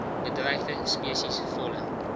bedreigde spesies volle